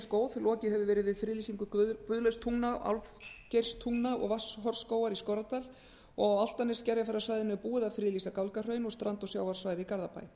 góð lokið hefur verið við friðlýsingu guðlaugstungna til álfgeirstungna og vatnshornsskógar í skorradal og á álftanes til skerjafjarðarsvæðinu er búið að friðlýsa gálgahraun og strand og sjávarsvæði í garðabæ